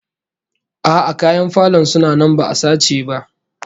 A'a, kayan falon suna nan ba'a sace ba